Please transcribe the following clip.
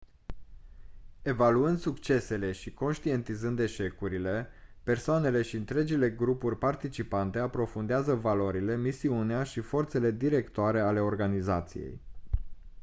evaluând succesele și conștientizând eșecurile persoanele și întregile grupuri participante aprofundează valorile misiunea și forțele directoare ale organizației